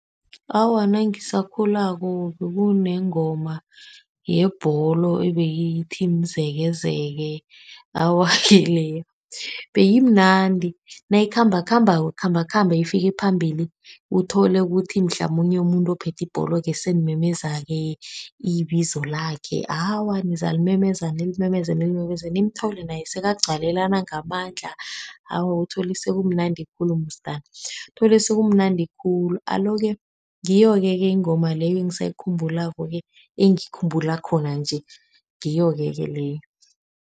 Awa, nangisakhulako bekunengoma yebholo ebeyithi, Mzekezeke, awa-ke leyo beyimnandi. Nayikhambakhambako, ikhambakhambe ifike phambili uthole ukuthi mhlamunye umuntu ophethe ibholo-ke senimemezake ibizo lakhe. Awa nizalimemeza nilimemeze nilimemeze nimthole naye sekagcwalelana ngamandla. Awa uthole sekumnandi khulu musi dani, uthole sekumnandi khulu. Alo-ke ngiyoke-ke ingoma leyo engisayikhumbulako-ke engiyikhumbulako khona nje ngiyoke-ke leyo.